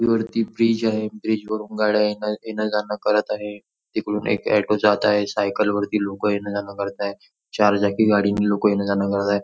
वरती ब्रिज आहे ब्रिजवरून गाड्या येण येण जाण करत आहे तिकडून एक ऑटो जात आहे सायकल वरती लोक येण जाण करताय चार चाकी गाडीने लवकर येण जाण करताय.